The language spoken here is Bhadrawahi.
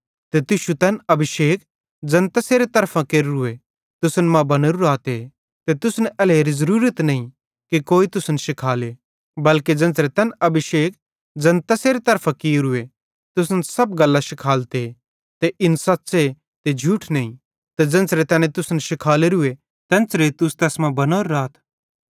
ते तुश्शू तैन अभिषेक ज़ैन तैसेरे तरफां केर्रूए तुसन मां बनोरू रहते ते तुसन एल्हेरी ज़रूरत नईं कि कोई तुसन शिखाले बल्के ज़ेन्च़रे तैन अभिषेक ज़ैन तैसेरे तरफां कियोरूए तुसन सब गल्लां शिखालते ते इन सच़्च़े ते झूठ नईं ते ज़ेन्च़रे तैने तुसन शिखालोरूए तेन्च़रे तुस तैस मां बनोरे रातथ